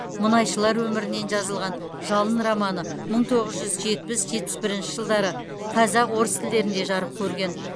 мұнайшылар өмірінен жазылған жалын романы мың тоғыз жүз жетпіс жетпіс бірінші жылдары қазақ орыс тілдерінде жарық көрген